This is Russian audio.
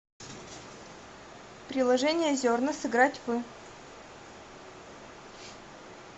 приложение зерна сыграть в